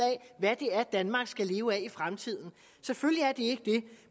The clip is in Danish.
hvad det er danmark skal leve af i fremtiden selvfølgelig er de